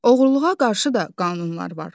Oğurluğa qarşı da qanunlar var.